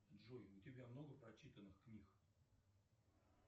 джой у тебя много прочитанных книг